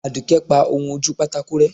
aduke pa ohún ojú pàtàkó rẹ